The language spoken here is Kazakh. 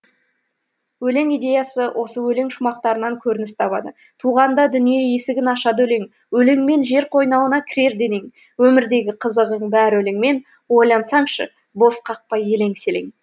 өлең идеясы осы өлең шумақтарынан көрініс табады туғанда дүние есігін ашады өлең өлеңмен жер қойнауына кірер денең өмірдегі қызығың бәрі өлеңмен ойлансаңшы бос қақпай елең селең